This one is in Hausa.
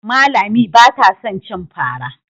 Amma Lami ba ta son cin fara.